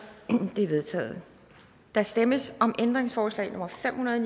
de er vedtaget der stemmes om ændringsforslag nummer fem hundrede og